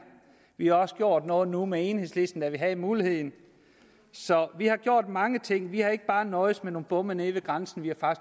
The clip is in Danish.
vi har også gjort noget nu med enhedslisten da vi havde muligheden så vi har gjort mange ting vi har ikke bare nøjedes med nogle bomme nede ved grænsen vi har